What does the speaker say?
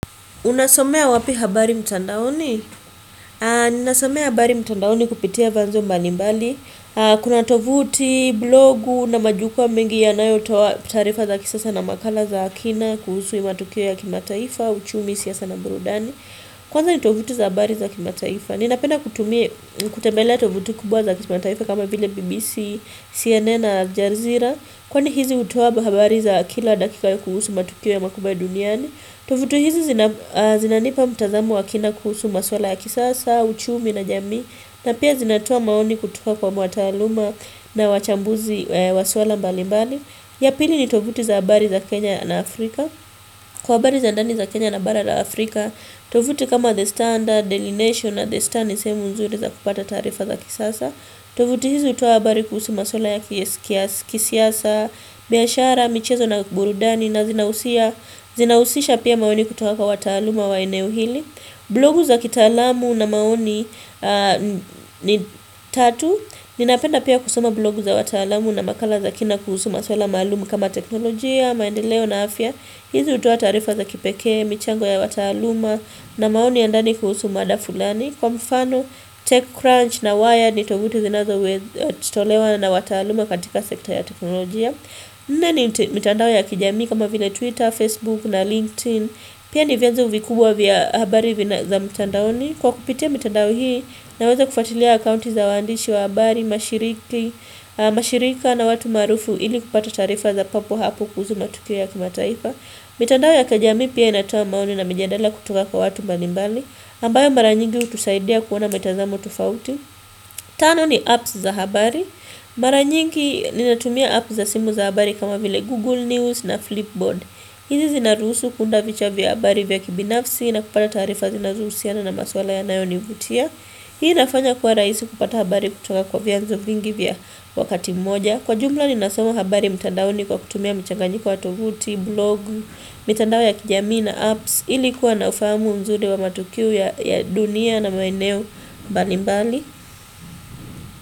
Unasomea wapi habari mtandaoni? Ninasomea habari mtandaoni kupitia vyanzo mbalimbali. Kuna tovuti, blogu na majukwaa mengi yanayotoa taarifa za kisasa na makala za kina kuhusu matukio ya kimataifa, uchumi siasa na burudani. Kwanza ni tovuti za habari za kimataifa. Ninapenda kutumia kutembelea tovuti kubwa za kimataifa kama vile BBC, CNN na Al Jazeera. Kwani hizi hutoa habari za kila dakika ya kuhusu matukio makubwa ya duniani. Tovuti hizi zinanipa mtazamo wa kina kuhusu maswala ya kisasa, uchumi na jamii na pia zinatoa maoni kutoka kwa mataaluma na wachambuzi wa swala mbali mbali ya pili ni tovuti za habari za Kenya na Afrika Kwa habari za ndani za Kenya na bara la Afrika tovuti kama The Standard, Daily nation na The Standard ni sehemu nzuri za kupata tarifa za kisasa tovuti hizi hutoa habari kuhusu maswala ya kisiasa, biashara, michezo na burudani na zinahusisha pia mageni kutoka kwa wataaluma wa eneo hili. Blogu za kitaalamu na maoni ni tatu. Ninapenda pia kusoma blogu za wataalumu na makala za kina kuhusu maswala maalumu kama teknolojia, maendeleo na afya. Hizi hutoa taarifa za kipekee, michango ya wataaluma na maoni ya ndani kuhusu mada fulani. Kwa mfano, Tech-Crunch na Wired ni tovuti zinazoitolewa na wataaluma katika sekta ya teknolojia. Nne ni mitandao ya kijamii kama vile Twitter, Facebook na LinkedIn Pia ni vienzo vikubwa vya habari vya mitandaoni Kwa kupitia mitandao hii naweza kufatilia akaunti za waandishi wa habari, mashirika na watu maarufu ili kupata taarifa za papo hapo kuhusu matukio ya kimataifa mitandao ya kijamii pia inatoa maoni na mijadala kutoka kwa watu mbalimbali ambayo mara nyingi hutusaidia kuona mitazamo tofauti Tano ni apps za habari Mara nyingi ninatumia app za simu za habari kama vile Google News na Flipboard hizi zinaruhusu kuunda vichwa vya habari vya kibinafsi na kupata tarifa zinazohusiana na maswala yanayonivutia Hii inafanya kuwa rahisi kupata habari kutoka kwa vyanzo vingi vya wakati mmoja Kwa jumla ninasoma habari mtandaoni kwa kutumia mchanganyiko wa tovuti, blogu, mitandao ya kijamii na apps ili kuwa na ufahamu mzuri wa matukio ya dunia na maeneo mbali mbali.